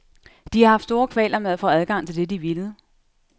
De har haft store kvaler med at få adgang til det de ville.